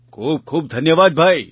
ખૂબ ખૂબ ધન્યવાદ ભાઈ